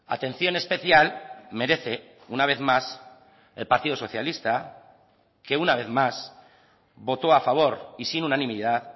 atención especial merece una vez más el partido socialista que una vez más voto a favor y sin unanimidad